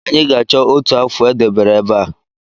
Anyị ga-achọ otu afụ e debere ebe a